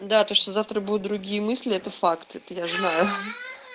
да то что завтра будут другие мысли это факт это я знаю